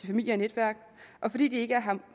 familie og netværk og fordi de ikke